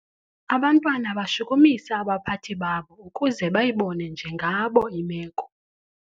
Abantwana bashukumisa abaphathi babo ukuze bayibone njengabo imeko.